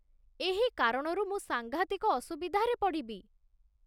ଏହି କାରଣରୁ ମୁଁ ସାଙ୍ଘାତିକ ଅସୁବିଧାରେ ପଡ଼ିବି